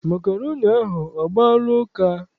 Makroni ahụ, ọ gbaala ụka?